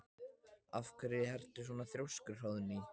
Af hverju ertu svona þrjóskur, Hróðný?